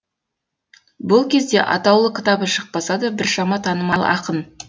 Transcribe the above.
бұл кезде атаулы кітабы шықпаса да біршама танымал ақын